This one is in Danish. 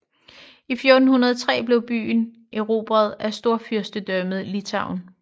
I 1403 blev byen erobret af Storfyrstendømmet Litauen